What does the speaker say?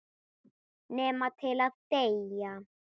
Nema til að deyja.